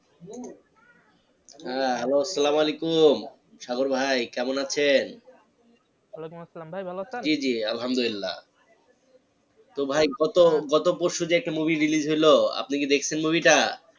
হ্যাঁ hello সালাম ওয়ালাইকুম সাগর ভাই কেমন আছেন? ওয়ালাইকুম আসলাম ভাই ভালো আসেন? জি জি আল্লাহামদুল্লিয়াহ তো ভাই গত গত পরশু যে একটা movie release হইলো আপনি কি দেখসেন movie টা?